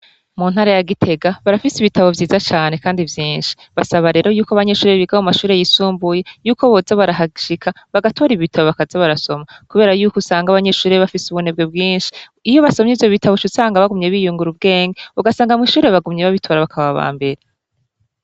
mu ntara ya gitega barafise ibitabo byiza cane kandi byinshi basaba rero yuko abanyeshuri biga mu mashure y'isumbuye yuko boza barahashika bagatora ibitabo bakazi barasoma kubera yuko usanga abanyeshuri bafise ubunebwe bwinshi iyo basomye ivyo bitabo usanga bagumye biyungura ubwenge ugasanga mwishuri bagumye babitora bakaba bambere